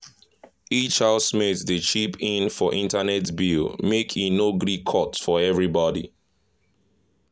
each housemate dey chip in for internet bills make e no gree cut for everybody.